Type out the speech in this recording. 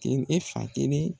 E fan kelen